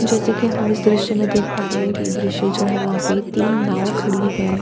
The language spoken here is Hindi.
जैसे कि हम इस दृश्य में देख पा रहे हैं कि ये दृश्य जो है वहां पे तीन नाव खड़ी हैं.